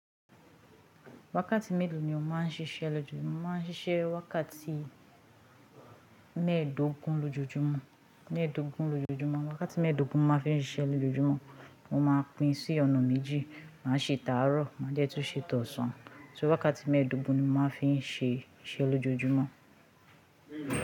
Wákàtí mélòó ni o máa ń ṣíṣe lójoojúmọ́? Mọ máa ń ṣíṣẹ́ wákàtí mẹ́ẹ̀dógún lójoojúmọ́, wákàtí mẹ́ẹ̀dógún ni mọ máa ń fi ṣiṣẹ́ lójoojúmọ́, mo máa pín sí ọ̀nà méjì, màá ṣe ìtàárọ̀, má jẹ́ tó ṣe tọ̀ọ́sàn. So wákàtí mẹ́ẹ̀dógún ni mọ máa ń fi ṣe iṣẹ́ lójoojúmọ́